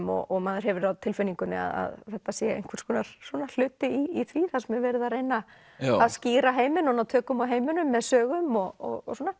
og maður hefur á tilfinningunni að þetta sé einhvers konar hluti í því þar sem er verið að reyna að skýra heiminn og ná tökum á heiminum með sögum og svona